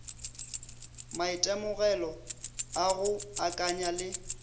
maitemogelo a go akanya le